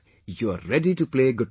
you are ready to play Gutta